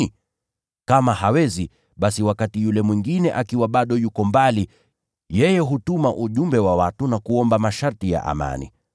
Kama hawezi, basi wakati yule mwingine akiwa bado yuko mbali, yeye hutuma ujumbe wa watu na kuomba masharti ya amani.